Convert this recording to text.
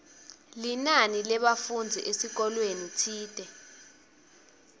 linani lebafundzi esikolweni tsite